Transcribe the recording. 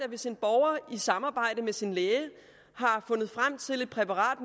hvis en borger i samarbejde med sin læge har fundet frem til et præparat